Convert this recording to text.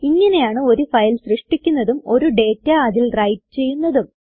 ഇങ്ങനെയാണ് ഒരു ഫയൽ സൃഷ്ടിക്കുന്നതും ഒരു ഡേറ്റ അതിൽ എഴുതുന്നതും